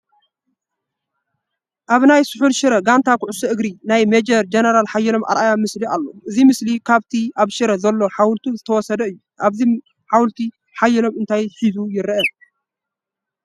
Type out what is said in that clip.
ኣብ ናይ ስሑል ሽረ ጋንታ ኩዕሾ እግሪ ናይ ሜጀር ጀነራል ሓየሎም ኣርኣያ ምስሊ ኣሎ፡፡ እዚ ምስሊ ካብቲ ኣብ ሽረ ዘሎ ሓወልቱ ዝተወሰደ እዩ፡፡ ኣብዚ ሓወልቲ ሓየሎም እንታይ ሂዙ ይርአ?